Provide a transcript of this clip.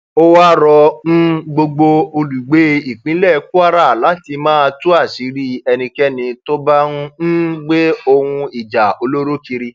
ó wáá rọ um gbogbo olùgbé ìpínlẹ kwara láti máa tú àṣírí ẹnikẹni tó bá ń um gbé ohun ìjà olóró kiri